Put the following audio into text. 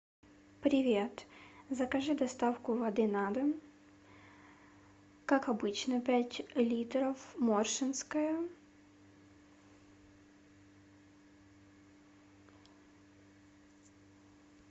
привет закажи доставку воды на дом как обычно пять литров моршинская